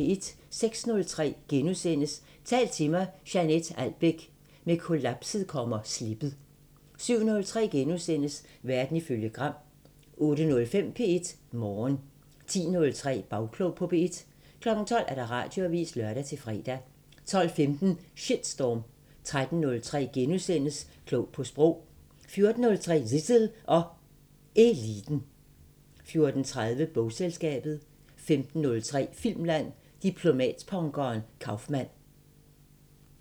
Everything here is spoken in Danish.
06:03: Tal til mig – Jeanett Albeck: Med kollapset kommer slippet * 07:03: Verden ifølge Gram * 08:05: P1 Morgen 10:03: Bagklog på P1 12:00: Radioavisen (lør-fre) 12:15: Shitstorm 13:03: Klog på Sprog * 14:03: Zissel og Eliten 14:30: Bogselskabet 15:03: Filmland: Diplomatpunkeren Kaufmann